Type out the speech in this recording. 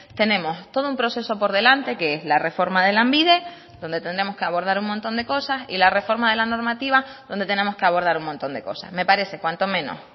tenemos todo un proceso por delante que es la reforma de lanbide donde tendremos que abordar un montón de cosas y la reforma de la normativa donde tenemos que abordar un montón de cosas me parece cuanto menos